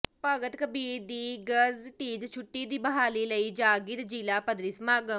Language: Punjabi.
ਭਗਤ ਕਬੀਰ ਦੀ ਗਜ਼ਟਿਡ ਛੁੱਟੀ ਦੀ ਬਹਾਲੀ ਲਈ ਜਾਗਿ੍ਤ ਜ਼ਿਲ੍ਹਾ ਪੱਧਰੀ ਸਮਾਗਮ